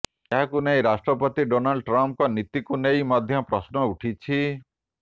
ଏହାକୁ ନେଇ ରାଷ୍ଟ୍ରପତି ଡୋନାଲ୍ଡ ଟ୍ରମ୍ପଙ୍କ ନୀତିକୁ ନେଇ ମଧ୍ୟ ପ୍ରଶ୍ନ ଉଠିଛି